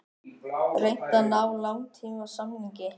Reynt að ná langtímasamningi